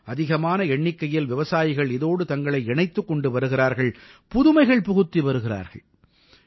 அதிகமான எண்ணிக்கையில் விவசாயிகள் இதோடு தங்களை இணைத்துக் கொண்டு வருகிறார்கள் புதுமைகள் புகுத்தி வருகிறார்கள்